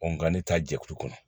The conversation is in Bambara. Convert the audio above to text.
nka ne ta jɛkulu kɔnɔ